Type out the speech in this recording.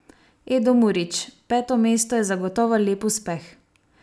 Edo Murić: "Peto mesto je zagotovo lep uspeh.